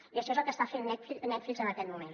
i això és el que està fent netflix en aquest moment